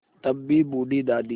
तब भी बूढ़ी दादी